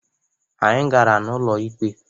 Anyị gara n'ụlọikpe.